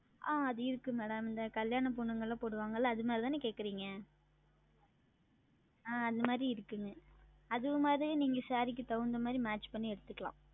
ஆஹ் அது இருக்கிறது Madam இந்த கல்யாண பெண்கள் உடுத்துவார்கள் அல்லவா அந்த மாதிரி தானே கேட்கிறீர்கள் அந்த மாதிரி இருக்கிறது அதுவும் மாதிரி நீங்கள் Saree க்கு தகுந்த மாதிரி Match செய்து எடுத்துக்கொள்ளலாம்